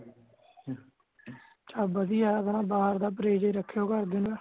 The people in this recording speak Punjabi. ਵਧੀਆ ਆਪਣਾ ਬਾਹਰ ਦਾ ਪਰੇਜ ਰਖਯੋ ਘਰ ਦਿਆਂ ਦਾ